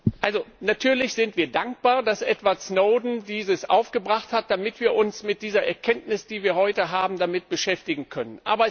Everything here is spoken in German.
Herr Albrecht! Natürlich sind wir dankbar, dass Edward Snowden dies aufgebracht hat, damit wir uns mit dieser Erkenntnis, die wir heute haben, damit beschäftigen können.